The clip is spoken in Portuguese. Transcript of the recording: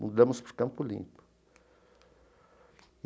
mudamos para o Campo Limpo.